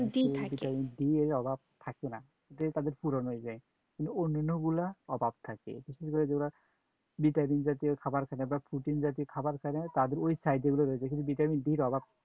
vitamin D এর অভাব থাকে না, যেটা তাদের পূরণ হয়ে যায়, কিন্তু অন্যান্যগুলা অভাব থাকে, বিশেষ করে যে গুলা vitamin জাতীয় খাবার খায় না বা protein জাতীয় খাবার খায় না তাদের ঐ side এর গুলা রয়ে যায়। কিন্তু vitamin D এর অভাব